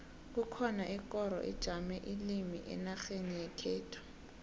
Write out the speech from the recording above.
kukhona ikoro ijame ilimi enarheni yekhethu